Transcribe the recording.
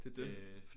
Det det